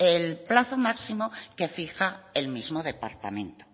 el plazo máximo que fija el mismo departamento